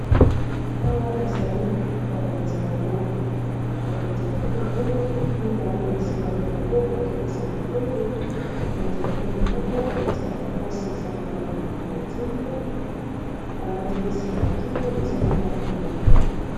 awa ezali bakonzi ya ekolo oyo mibale bapesami mbote , balati ba kazaka ya bozinga.